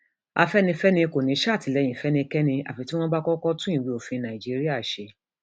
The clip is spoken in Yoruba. afẹnifẹre kò ní í sàtìlẹyìn fẹnikẹni àfi tí wọn bá kọkọ tún ìwé òfin nàìjíríà ṣe